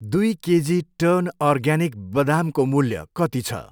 दुई केजी टर्न अर्ग्यानिक बदामको मूल्य कति छ?